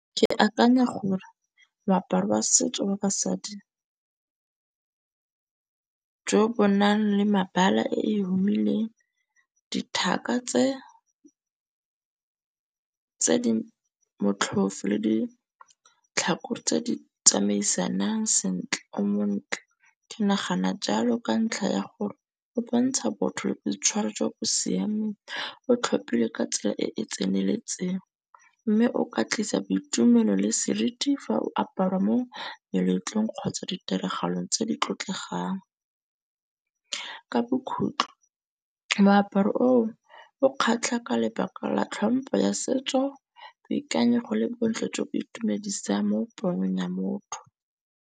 Ke akanya gore moaparo wa setso wa basadi jo bo nang le mabala e humileng dithaka tse di motlhofo le ditlhako tse di tsamaisanang sentle o montle. Ke nagana jalo ka ntlha ya gore go bontsha botho le boitshwaro jwa bo siameng. O tlhophile ka tsela e e tseneletseng. Mme o ka tlisa boitumelo le seriti fa o aparwa mo meletlong kgotsa ditiragalong tse di tlotlegang. Ka bokhutlo moaparo o o kgatlha ka lebaka la tlhompo ya setso, boikanyego le bo ntlo tseo bo itumedisang mo ya motho.